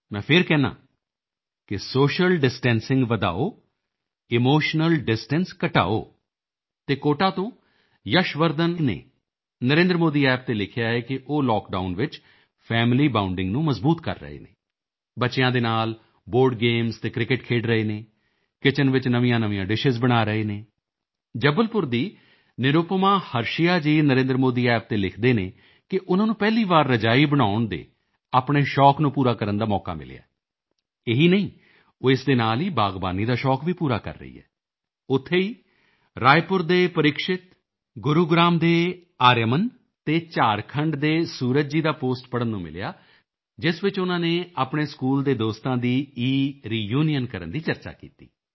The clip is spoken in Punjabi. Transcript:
ਮੈਂ ਫਿਰ ਕਹਿੰਦਾ ਹਾਂ ਕਿ ਸੋਸ਼ੀਅਲ ਡਿਸਟੈਂਸਿੰਗ ਵਧਾਓ ਇਮੋਸ਼ਨਲ ਡਿਸਟੈਂਸ ਘਟਾਓ ਅਤੇ ਕੋਟਾ ਤੋਂ ਯੱਸ਼ ਵਰਧਨ ਨੇ ਨਰੇਂਦਰਮੋਦੀ App ਤੇ ਲਿਖਿਆ ਹੈ ਕਿ ਉਹ ਲਾਕਡਾਊਨ ਵਿੱਚ ਫੈਮਿਲੀ ਬਾਉਂਡਿੰਗ ਨੂੰ ਮਜ਼ਬੂਤ ਕਰ ਰਹੇ ਹਨ ਬੱਚਿਆਂ ਦੇ ਨਾਲ ਬੋਰਡ ਗੇਮਜ਼ ਅਤੇ ਕ੍ਰਿਕੇਟ ਖੇਡ ਰਹੇ ਹਨ ਕਿਚਨ ਵਿੱਚ ਨਵੀਆਂਨਵੀਆਂ ਡਿਸ਼ਜ਼ ਬਣਾ ਰਹੇ ਹਨ ਜਬਲਪੁਰ ਦੀ ਨਿਰੂਪਮਾ ਹਰਸ਼ਿਆ ਜੀ ਨਰੇਂਦਰਮੋਦੀ App ਤੇ ਲਿਖਦੀ ਹੈ ਕਿ ਉਨ੍ਹਾਂ ਨੂੰ ਪਹਿਲੀ ਵਾਰ ਰਜਾਈ ਬਣਾਉਣ ਦੇ ਆਪਣੇ ਸ਼ੌਕ ਨੂੰ ਪੂਰਾ ਕਰਨ ਦਾ ਮੌਕਾ ਮਿਲਿਆ ਇਹੀ ਨਹੀਂ ਉਹ ਇਸ ਦੇ ਨਾਲ ਹੀ ਬਾਗਬਾਨੀ ਦਾ ਸ਼ੌਕ ਵੀ ਪੂਰਾ ਕਰ ਰਹੀ ਹੈ ਉੱਥੇ ਹੀ ਰਾਇਪੁਰ ਦੇ ਪਰਿਕਸ਼ਿਤ ਗੁਰੂਗ੍ਰਾਮ ਦੇ ਆਰਿਆਮਨ ਅਤੇ ਝਾਰਖੰਡ ਦੇ ਸੂਰਜ ਜੀ ਦਾ ਪੋਸਟ ਪੜ੍ਹਨ ਨੂੰ ਮਿਲਿਆ ਜਿਸ ਵਿੱਚ ਉਨ੍ਹਾਂ ਨੇ ਆਪਣੇ ਸਕੂਲ ਦੇ ਦੋਸਤਾਂ ਦੀ ਇਰੀਯੂਨੀਅਨ ਕਰਨ ਦੀ ਚਰਚਾ ਕੀਤੀ ਹੈ